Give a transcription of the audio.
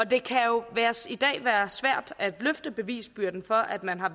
det kan jo i dag være svært at løfte bevisbyrden for at man har